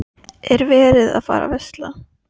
Er verið að fara að versla?